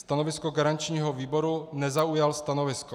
Stanovisko garančního výboru - nezaujal stanovisko.